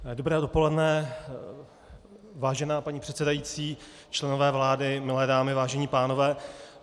Dobré dopoledne, vážená paní předsedající, členové vlády, milé dámy, vážení pánové.